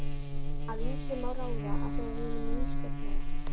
Af ýmsu má ráða, að þegar hinum nýstofnaða